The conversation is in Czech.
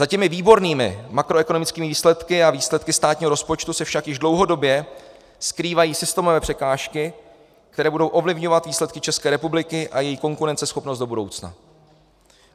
Za těmi výbornými makroekonomickými výsledky a výsledky státního rozpočtu se však již dlouhodobě skrývají systémové překážky, které budou ovlivňovat výsledky České republiky a její konkurenceschopnost do budoucna.